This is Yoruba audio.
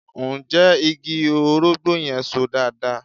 Ǹjẹ́ igi orógbó yẹn So dáadáa?